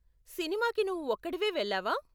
సినిమాకి నువ్వు ఒక్కడివే వెళ్ళావా?